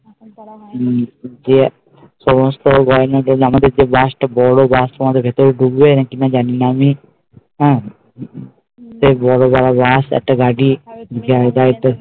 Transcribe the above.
হম সমস্ত গয়না আমাদের যে bus টা বড়ো bus টা ভেতরে ঢুকবে নাকি নামিয়ে বড়ো বড়ো bus একটা গাড়ি জায়গায় তো